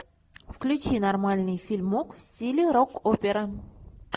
включи нормальный фильмок в стиле рок опера